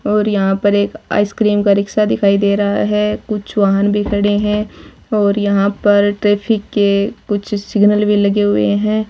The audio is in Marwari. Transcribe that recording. और यहां पर एक आइसक्रीम का रिक्शा दिखाई दे रहा है कुछ वाहन भी खड़े हैं और यहां पर ट्रैफिक के कुछ सिग्नल भी लगे हुए है।